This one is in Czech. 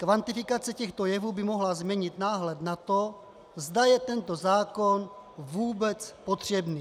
Kvantifikace těchto jevů by mohla změnit náhled na to, zda je tento zákon vůbec potřebný.